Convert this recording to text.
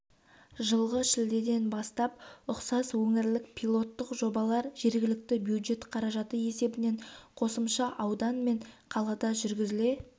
жылғы шілдеден бастап ұқсас өңірлік пилоттық жобалар жергілікті бюджет қаражаты есебінен қосымша аудан мен қалада жүргізіле